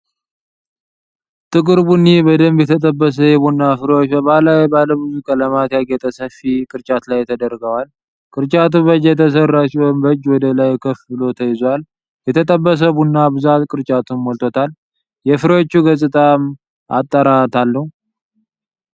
ጥቁር ቡኒ፣ በደንብ የተጠበሱ የቡና ፍሬዎች በባህላዊ ባለብዙ ቀለማት ያጌጠ ሰፊ ቅርጫት ላይ ተደርገዋል። ቅርጫቱ በእጅ የተሰራ ሲሆን በእጅ ወደ ላይ ከፍ ብሎ ተይዟል። የተጠበሰው ቡና ብዛት ቅርጫቱን ሞልቶታል፤ የፍሬዎቹ ገጽታም አጠራት አለው።